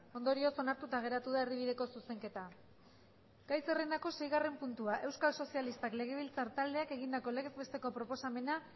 ondorioz onartuta geratu da erdibideko zuzenketa gai zerrendako seigarren puntua euskal sozialistak legebiltzar taldeak egindako legez besteko proposamena